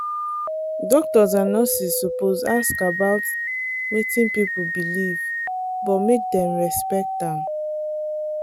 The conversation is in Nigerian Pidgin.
doctors and nurses suppose ask about wetin people believe but make dem respect am.